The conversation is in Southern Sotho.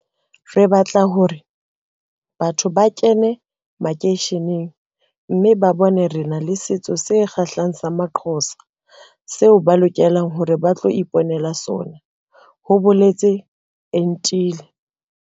Re batla hore batho ba kene makeisheneng mme ba bone hore re na le setso se kgahlehang sa amaXhosa seo ba lokelang hore ba tlo ipo nela sona, ho boletse Entile.